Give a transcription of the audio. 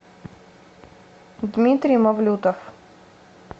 дмитрий мавлютов